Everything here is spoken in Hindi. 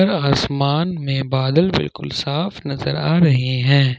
असमान में बादल बिल्कुल साफ नजर आ रहे हैं।